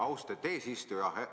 Austatud eesistuja!